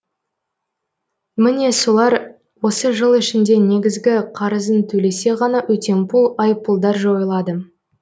міне солар осы жыл ішінде негізгі қарызын төлесе ғана өтемпұл айыппұлдар жойылады